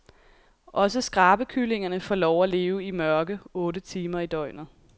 Også skrabekyllingerne får lov at leve i mørke otte timer i døgnet.